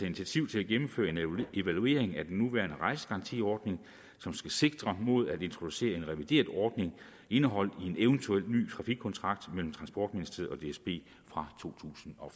initiativ til at gennemføre en evaluering af den nuværende rejsegarantiordning som skal sigte mod at introducere en revideret ordning indeholdt i en eventuel ny trafikkontrakt mellem transportministeriet og dsb fra totusinde og